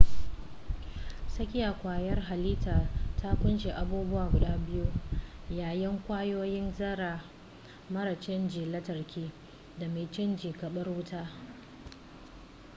tsakiya kwayar halittar ta kunshi abubuwa guda biyu-yayan kwayoyin zarra mara cajin lantarki da mai caji karbar wuta